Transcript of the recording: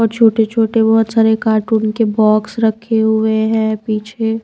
छोटे छोटे बहोत सारे कार्टून के बॉक्स रखे हुए हैं पीछे--